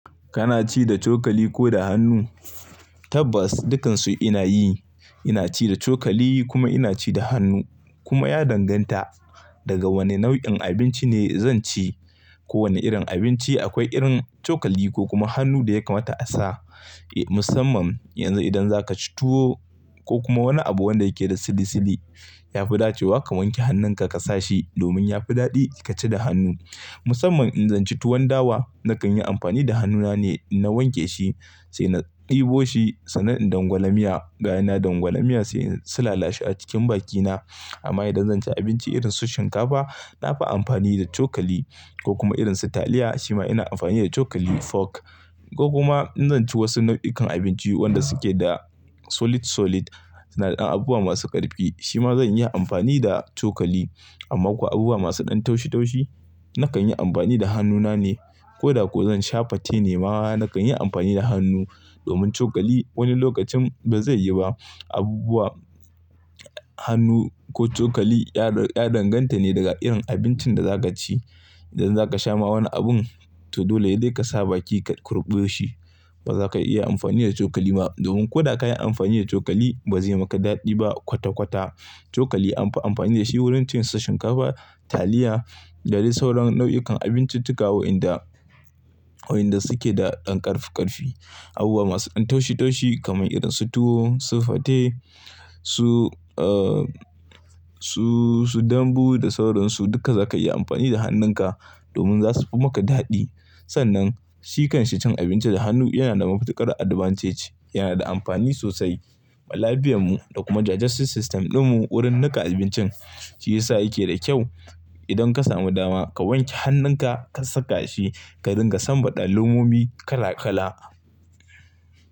Kana ci da cokali ko da hannu? Tabbas dukansu ina yi, ina ci da cokali kuma ina ci da hannu. Kuma ya danganta daga wane nau'in abinci ne zan ci. Ko wane irin abinci akwai irin cokali ko kuma hannu da ya kamata a sa. Musamman yanzu idan za ka ci tuwo ko kuma wani abu wanda yake da sili-sili, yafi dacewa ka wanke hannunka ka sa shi domin yafi daɗi ka ci da hannu. Musamman in zan ci tuwon dawa nakan yi amfani da hannuna ne. Na wanke shi sai na ɗebo shi sannan in dangwalamiya, ga ina dangwalamiya sai in su lalashe a cikin bakina. Amma idan zan ci abinci irin su shinkafa nafi amfani da cokali ko kuma irin su taliya shima ina amfani da cokali fork. Ko kuma in zan ci wasu nau'ukan abinci wanda suke da solid-solid sannan abubuwa masu ƙarfi shima zan yi amfani da cokali. Amma kuwa abubuwa masu ɗan taushi-taushi nakan yi amfani da hannuna ne. Ko da ku zan sha fate ne ma nakan yi amfani da hannu domin cokali wani lokacin bazai iya ba. Abubuwa, hannu ko cokali ya danganta ne daga irin abincin da zaka ci. Idan zaka sha ma wani abun to dole ya dai ka sa baki ka kurɓe shi, bazaka iya amfani da cokali ba. Domin ko da ka yi amfani da cokali bazai maka daɗi ba kwata-kwata. Cokali anfi amfani da shi wurin cin su shinkafa, taliya da dai sauran nau'ikan abinciccika wa'inda, wa'inda suke da ɗan ƙarfi-ƙarfi. Abubuwa masu ɗan taushi-taushi kaman irin su tuwo, su fate, su, uh, su, su dambu da sauran su duka zakayi amfani da hannunka domin zasufu maka daɗi. Sannan, sikan ci abinci da hannu yana da mafi ƙarar advantage, yana da amfani sosai ma lafiyanmu da kuma digestive system ɗinmu wurin niƙa abincin shi yasa yake da kyau. Idan ka samu dama ka wanke hannunka ka saka shi, ka ringa sanbaɗa lemomi kala-kala.